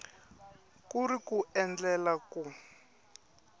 ku ri ku endlela ku